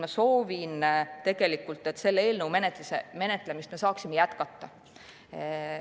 Ma soovin, et me saaksime selle eelnõu menetlemist jätkata.